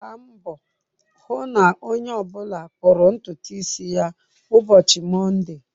Gbaa mbọ hụ na onye ọ bụla kpụrụ ntutu isi ya ụbọchị Mọnde!